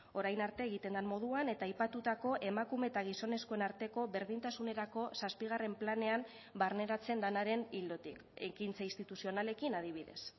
orain arte egiten den moduan eta aipatutako emakume eta gizonezkoen arteko berdintasunerako zazpigarren planean barneratzen denaren ildotik ekintza instituzionalekin adibidez